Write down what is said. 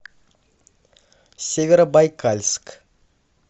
северобайкальск